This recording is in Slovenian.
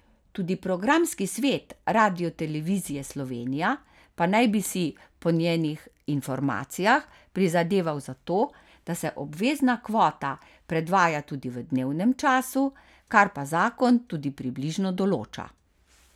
Tudi programski svet Radiotelevizije Slovenija pa naj bi si po njenih informacijah prizadeval za to, da se obvezna kvota predvaja tudi v dnevnem času, kar pa zakon tudi približno določa.